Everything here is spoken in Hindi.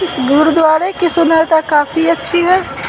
गुरुद्वारे की सुंदरता काफी अच्छी है।